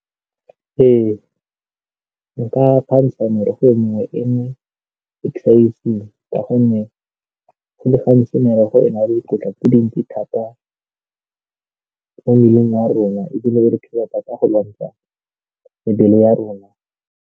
Ee, nka merogo e mengwe ka gonne go le gantsi merogo e na le dikotla tse dintsi thata mo mmeleng wa rona ebile e re thusa thata go lwantsha mebele ya rona.